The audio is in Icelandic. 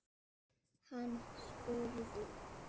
Hann spurði